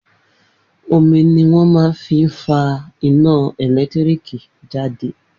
Omi ni wón máa fi ń fa iná ẹ̀lẹ́tíríkì jáde